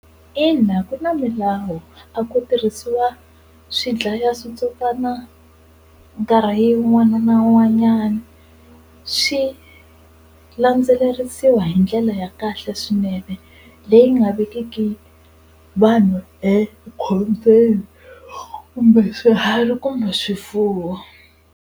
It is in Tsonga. Ina ku na milawu a ko tirhisiwa swidlayaswitsotswana nkarhi wun'wana na wun'wanyana swi landzelerisiwa hi ndlela ya kahle swinene leyi nga vekiweki vanhu ekhombyeni kumbe swihari kumbe swifuwo.